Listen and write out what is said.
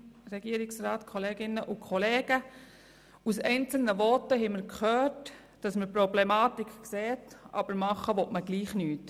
Aus einzelnen Voten haben wir gehört, dass man die Problematik sieht, aber trotzdem nichts unternehmen will.